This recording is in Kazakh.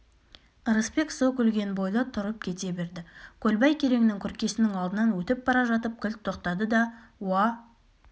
ырысбек со күлген бойда тұрып кете берді көлбай кереңнің күркесінің алдынан өтіп бара жатып кілт тоқтады да уа